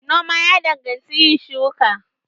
Noma ya danganci yin shuka.